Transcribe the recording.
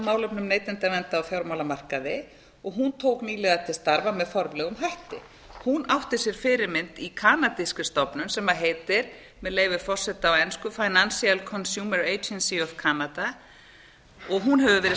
málefnum neytendaverndar á fjármálamarkaði og hún tók nýlega til starfa með formlegum hætti hún átti sér fyrirmynd í kanadískri stofnun sem heitir með leyfi forseta á ensku financial consumer agency of canada og hún hefur verið